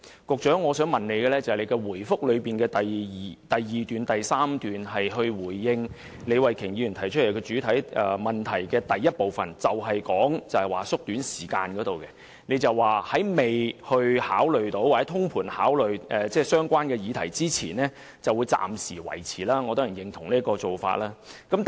局長在主體答覆的第二及第三段回應李慧琼議員的主體質詢第一部分時，提及縮短投票時間的建議，並表示在完成全盤考慮相關議題之前，會暫時維持現有的投票時間。